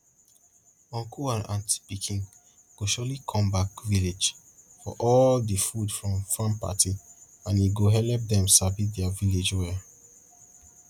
uncle and aunty pikin go surely come back village for all di food from farm party and e go helep dem sabi dia village well